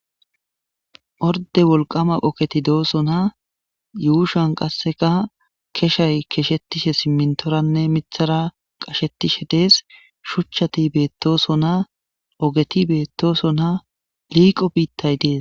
orde wolqama poketi doosona yuushan qasseka keshay keshettishe simmintoranne mithara qashettishe dees shuchchati beettosona ogeti beettoosona liiqo biittay dees